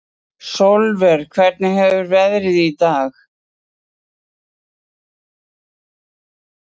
Sólver, hvernig er veðrið í dag?